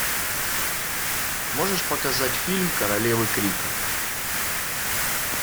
можешь показать фильм королевы крика